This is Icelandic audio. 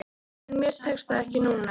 En mér tekst það ekki núna.